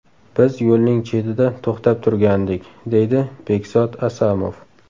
Biz yo‘lning chetida to‘xtab turgandik, deydi Bekzod Asamov.